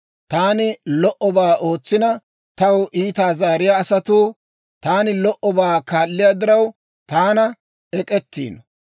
Taani lo"obaa ootsina, taw iitaa zaariyaa asatuu, Taani lo"obaa kaalliyaa diraw, taana ek'k'etiino.